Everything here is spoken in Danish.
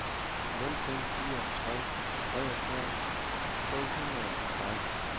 nul fem fire tre treogfyrre to hundrede og seksten